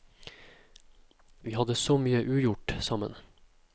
Vi hadde så mye ugjort sammen.